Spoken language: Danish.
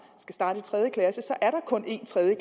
kun er én tredje